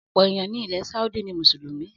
Ọ̀pọ̀ èèyàn ni ilẹ̀ Saudi ni Mùsùlùmí